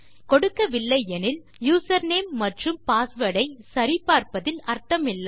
கொடுக்கவில்லை எனில் யூசர்நேம் மற்றும் பாஸ்வேர்ட் ஐ சரிபார்ப்பதில் அர்த்தம் இல்லை